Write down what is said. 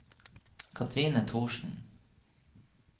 Cathrine Thorsen